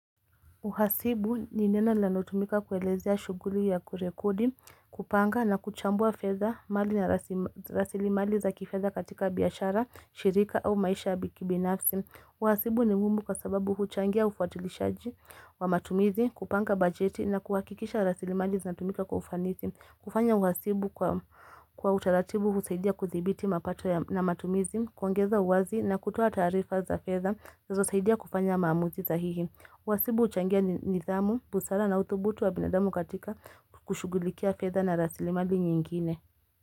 Uhasibu ni neno linalotumika kuelezea shuguli ya kurekodi, kupanga na kuchambua fedha mali na rasili mali za kifedha katika biashara, shirika au maisha yakibinafsi. Uhasibu ni mumbu kwa sababu huchangia ufuatilishaji wa matumizi, kupanga bajeti na kuhakikisha rasilimali zinatumika kwa ufanisi. Kufanya uhasibu kwa utaratibu husaidia kuthibiti mapato na matumizi, kuongeza uwazi na kutoa tarifaa za fedha zinazosaidia kufanya maamuzi sahihi. Uhasibu huchangia nidhamu, busara na uthubutu wa binadamu katika kushugulikia fedha na rasilimali nyingine.